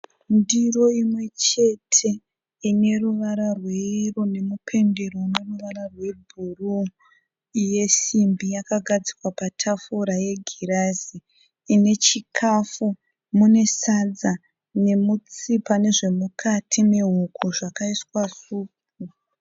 Ndiro imwe chete ine ruvara rweyero nemupendero une ruvara rwebhuruu. Yesimbi yakagadzikwa patafura yegirazi. Ine chikafu, mune sadza nemutsipa nezvemukati mehuku zvakaiswa supu.